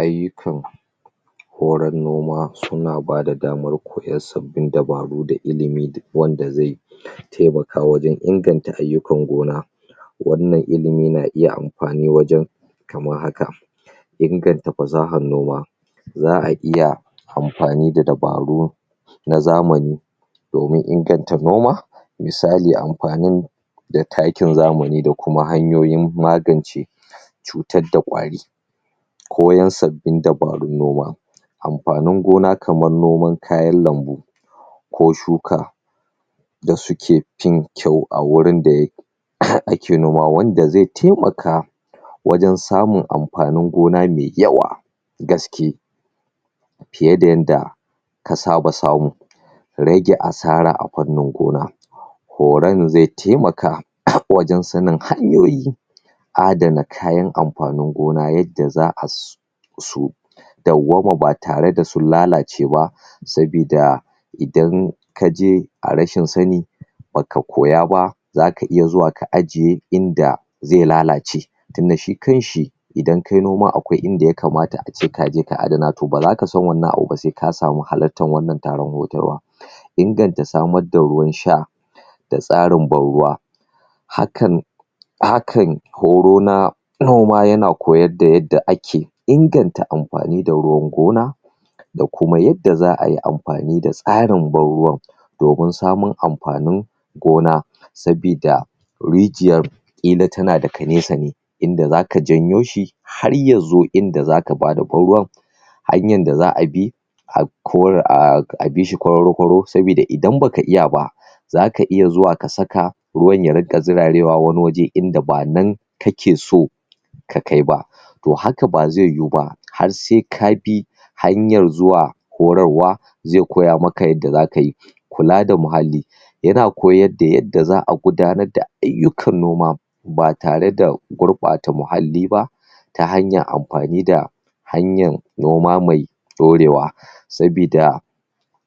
Ayyukan horon noma, suna bada damar koyan sabbin dabaru da ilimi, duk wanda zai taimaka wajan inganta ayyukan gona. Wannan ilimi na iya amfani wajan kaman haka: inganta fasahan noma, za a iya amfani da dabaru na zamani, domin inganta noma. Misali, amfanin da takin zamani da kuma hanyoyin magance cutad da ƙwari. Koyon sabbin dabarun noma. Amfanin gona kaman noman kayan lambu, ko shuka da suke a gurin da um ake noma, wanda zai taimaka wajan samun amfanin gona mai yawa gaske, fiye da yanda ka saba samu. Rage asara a fannin gona. Horon zai taimaka wajan sanin hanyoyi adana kayan amfanin gona, yadda za a su su dawwama ba tare da sun lalace ba, sabida, idan ka je a rashin sani baka koya ba, za ka iya zuwa ka ajiye inda ze lalace. Tunda shi kanshi, Idan kai noma, akwai inda ua kamata a ce kaje ka adana, to ba zaka san wannan abu ba, sai ka samu halattan taron hotarwa. Inganta samad da ruwan sha da tsarin ban ruwa. Hakan hakan horo na noma, yana koyad da yand ake inganta amfani da ruwan gona, da kuma yadda za ai amfani da tsarin ban ruwan, domin samun amfanin gona, sabida rijiyar ƙila tana daka nesa ne, inda zaka janyo shi har yazo inda zaka bada ban ruwan. Hanyan da za a bi, a bishi kwararo-kwararo, sabida idan baka iya ba, zaka iya zuwa ka saka ruwan ya rinƙa zirarewa wani waje, inda ba nan kake so ka kai ba. To, haka ba zai yuyu ba, har sai ka bi hanyar zuwa horarwa, zai koya maka yanda za kayi. Kula da muhalli: yana koyad da yanda za a gudanar da ayyukan noma, ba tare da gurbata muhalli ba, ta hanyan amfani da hanyan noma mai ɗorewa. Sabida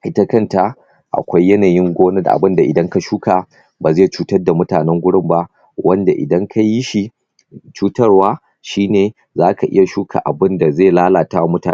ita kanta akwai yanayin gonad da abunda idan ka shuka, ba ze cutad da mutanen wurin ba, wanda idan kayi shi, cutarwa shine zaka iya shuka abunda zai lalata mutane.